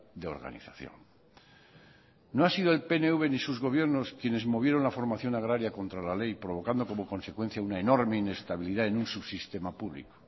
de organización no ha sido el pnv ni sus gobiernos quienes movieron la formación agraria contra la ley provocando como consecuencia una enorme inestabilidad en un subsistema público